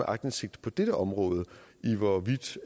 aktindsigt på dette område hvorvidt